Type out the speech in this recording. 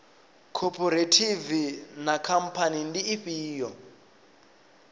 khophorethivi na khamphani ndi ifhio